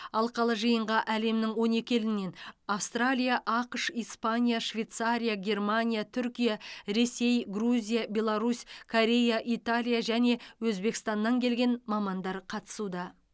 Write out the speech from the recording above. алқалы жиынға әлемнің он екі елінен австралия ақш испания швейцария германия түркия ресей грузия беларусь корея италия және өзбекстаннан келген мамандар қатысуда